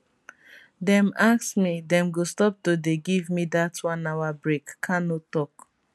dem ask me dem go stop to dey give me dat one hour break kanu tok